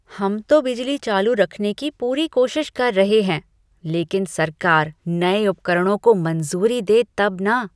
हम तो बिजली चालू रखने की पूरी कोशिश कर रहे हैं लेकिन सरकार नए उपकरणों को मंजूरी दे तब न।